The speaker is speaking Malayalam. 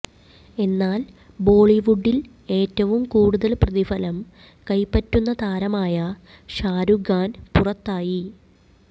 എന്നാൽ ബോളിവുഡിൽ ഏറ്റവും കൂടുതൽ പ്രതിഫലം കൈപറ്റുന്ന താരമായ ഷാരൂഖ് ഖാൻ പുറത്തായി